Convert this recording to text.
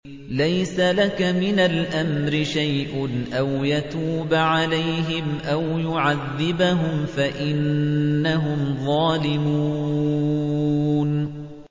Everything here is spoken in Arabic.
لَيْسَ لَكَ مِنَ الْأَمْرِ شَيْءٌ أَوْ يَتُوبَ عَلَيْهِمْ أَوْ يُعَذِّبَهُمْ فَإِنَّهُمْ ظَالِمُونَ